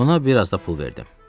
Ona bir az da pul verdim.